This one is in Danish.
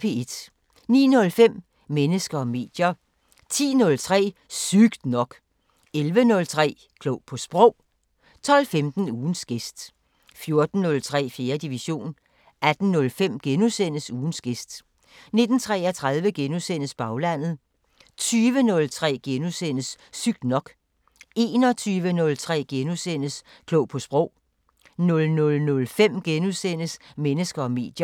09:05: Mennesker og medier 10:03: Sygt nok 11:03: Klog på Sprog 12:15: Ugens gæst 14:03: 4. division 18:05: Ugens gæst * 19:33: Baglandet * 20:03: Sygt nok * 21:03: Klog på Sprog * 00:05: Mennesker og medier *